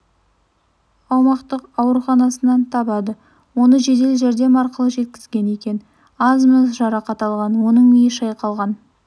аумақтық ауруханасынан табады оны жедел жәрдем арқылы жеткізген екен аз-маз жарақат алған оның миы шайқалғагн